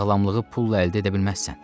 Sağlamlığı pulla əldə edə bilməzsən.